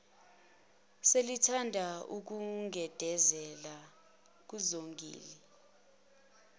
selithanda ukugedezela kuzongile